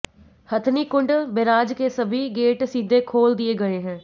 Hathnikund barrage के सभी gate सीधे खोल दिए गए हैं